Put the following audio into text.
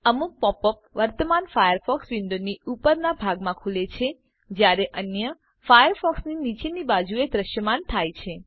અમુક pop up વર્તમાન ફાયરફોક્સ વિન્ડોની ઉપરના ભાગમા ખુલે છે જ્યારે અન્ય ફાયરફોક્સની નીચેની બાજુએ દ્રશ્યમાન થાય છે